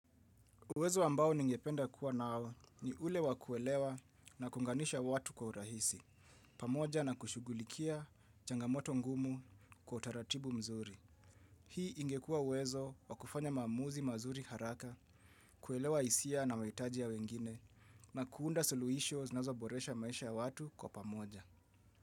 Uwezo ambao ningependa kuwa nao ni ule wa kuelewa na kuunganisha watu kwa urahisi, pamoja na kushugulikia changamoto ngumu kwa utaratibu mzuri. Hii ingekua uwezo wa kufanya maamuzi mazuri haraka, kuelewa hisia na mahitaji ya wengine, na kuunda suluhisho zinazo boresha maisha ya watu kwa pamoja.